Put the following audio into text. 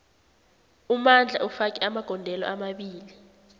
umandla ufake amagondelo amabili